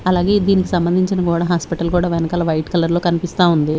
అలాగే దీనికి సంబంధించిన గోడ హాస్పిటల్ కూడా వెనకాల వైట్ కలర్ లో కనిపిస్తా ఉంది.